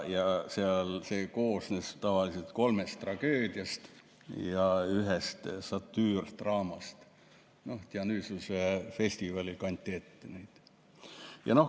See koosnes tavaliselt kolmest tragöödiast ja ühest satüürdraamast, Dionysose festivalil kanti neid ette.